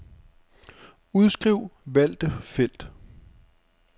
Udskriv valgte felt.